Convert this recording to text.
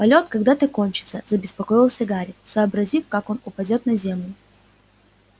полёт когда-то кончится забеспокоился гарри вообразив как он упадёт на землю